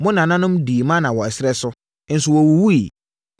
Mo nananom dii mana wɔ ɛserɛ so, nso wɔwuwuiɛ,